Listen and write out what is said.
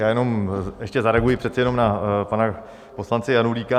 Já jenom ještě zareaguji přece jenom na pana poslance Janulíka.